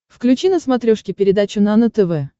включи на смотрешке передачу нано тв